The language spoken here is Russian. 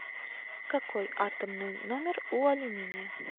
какой атомный номер у алюминия